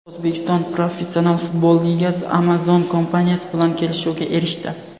O‘zbekiston Professional futbol ligasi Amazon kompaniyasi bilan kelishuvga erishdi.